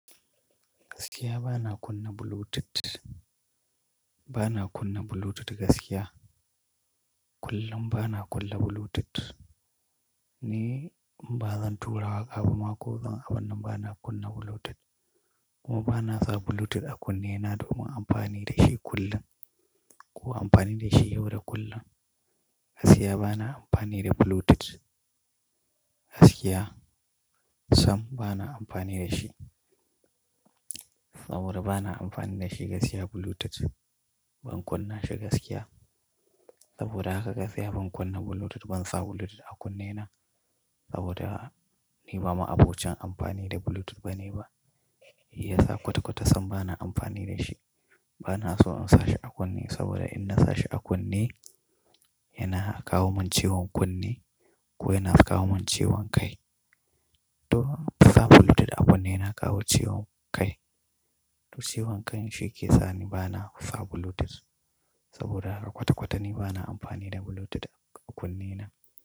Gaskiya bana kunna Bluetooth. Bana kunna Bluetooth gaskiya. Kullum bana kunna Bluetooth. Ni ba zan tura waƙa ba ma ko zan abun nan bana kunna Bluetooth. Ko ba na sa Bluetooth a kunne na domin amfani da shi kullum. Ko amfani da shi yau da kullum. Gaskiya bana amfani da Bluetooth. Gaskiya sam bana amfani da shi. Saboda bana amfani da shi gaskiya Bluetooth. Ban kunna shi gaskiya. Saboda haka gaskiya ban kunna Bluetooth, ban sa Bluetooth a kunne na. Saboda ni ba ma'abocin amfani da Bluetooth bane ba. Ya sa kwata-kwata sam bana amfani da shi. Bana so in sa shi a kunne saboda in na sa shi a kunne, yana kawo min ciwon kunne ko yana kawo min ciwon kai. To sa Bluetooth a kunne yana kawo ciwon kai. To ciwon kai shine ke sani bana sa Bluetooth. Saboda haka kwata-kwata ni bana amfani da Bluetooth a kunne na.